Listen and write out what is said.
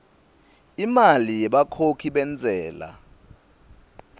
imali yebakhokhi bentsela